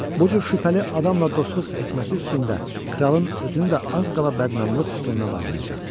Bu cür şübhəli adamla dostluq etməsi üstündə kralın özünü də az qala bədnamlıq sütununa bağlayacaqdılar.